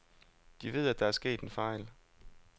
De ved, at der er sket en fejl.